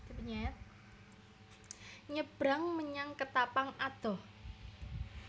Nyebrang menyang Ketapang adoh